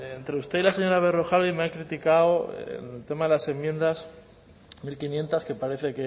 entre usted y la señora berrojalbiz me han criticado en el tema de las enmiendas mil quinientos que parece